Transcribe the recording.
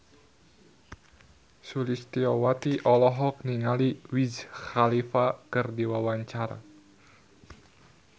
Sulistyowati olohok ningali Wiz Khalifa keur diwawancara